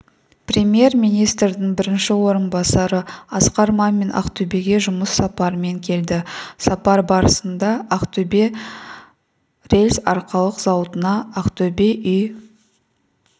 премьер-министрдің бірінші орынбасары асқар мамин ақтөбеге жұмыс сапарымен келді сапар барысында ақтөбе рельс-арқалық зауытына ақтөбе үй